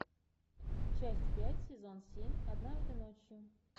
часть пять сезон семь однажды ночью